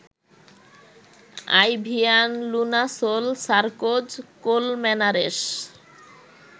আইভিয়ান Lunasol Sarkoz Colmenares